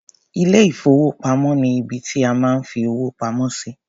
Ilé-ìfowópamọ́ ni ibi tí a máa ń fi owó pamọ́ sí.